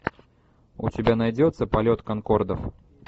у тебя найдется полет конкордов